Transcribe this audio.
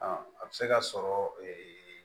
A bɛ se ka sɔrɔ